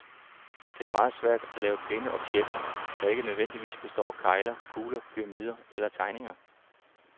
Det er meget svært at lave pæne objekter, der ikke nødvendigvis består af kegler, kugler, pyramider eller terninger.